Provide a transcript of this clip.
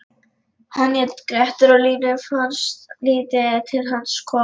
Hann hét Grettir og Línu fannst lítið til hans koma: